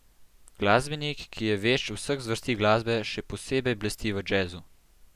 Glasbenik, ki je vešč vseh zvrsti glasbe, še posebej blesti v džezu.